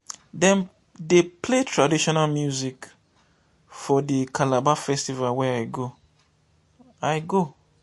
dem dey play traditional music for di calabar festival wey i go. i go.